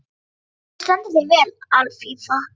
Þú stendur þig vel, Alfífa!